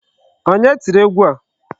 Onye tiri egwu a?